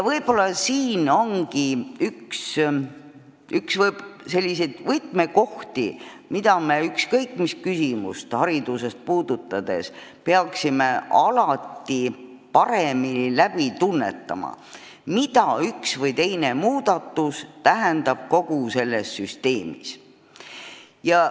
Võib-olla siin ongi üks võtmekohti, mida me ükskõik mis küsimust hariduses puudutades peaksime paremini tunnetama: me peame teadma, mida üks või teine muudatus kogu selles süsteemis tähendab.